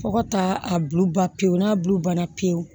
Fo ka taa a bulu ba pewu n'a bu banna pewu